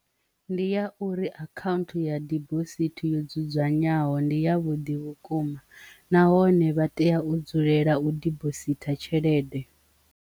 Ndi ya uri account ya dibosithi yo dzudzanywaho ndi ya vhuḓi vhukuma nahone vha tea u dzulela u dibositha tshelede.